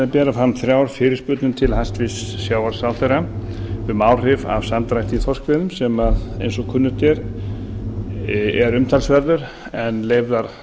bera fram þrjár fyrirspurnir til hæstvirts sjávarútvegsráðherra um áhrif af samdrætti í þorskveiðum sem eins og kunnugt er er umtalsverður en leyfðar